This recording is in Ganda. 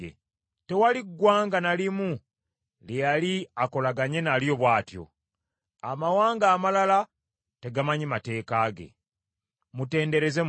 Tewali ggwanga na limu lye yali akolaganye nalyo bw’atyo; amawanga amalala tegamanyi mateeka ge. Mutendereze Mukama !